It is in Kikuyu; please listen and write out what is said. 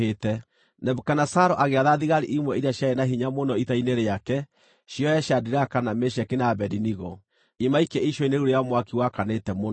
Nebukadinezaru agĩatha thigari imwe iria ciarĩ na hinya mũno ita-inĩ rĩake ciohe Shadiraka, na Meshaki, na Abedinego, imaikie icua-inĩ rĩu rĩa mwaki wakanĩte mũno.